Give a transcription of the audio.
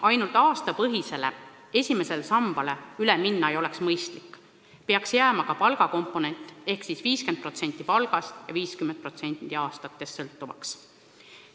Ainult aastate arvu põhisele esimesele sambale üle minna ei oleks mõistlik, peaks jääma ka palgakomponent ehk siis sõltuvus 50% palgast ja 50% aastate arvust.